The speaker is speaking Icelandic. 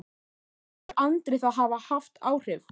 En telur Andri það hafa haft áhrif?